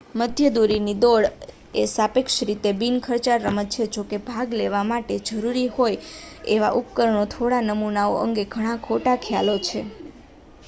મધ્યમ દૂરીની દોડ એ સાપેક્ષ રીતે બિન ખર્ચાળ રમત છે જો કે ભાગ લેવા માટે જરૂરી હોય એવા ઉપકરણના થોડા નમૂનાઓ અંગે ઘણા ખોટા ખ્યાલો છે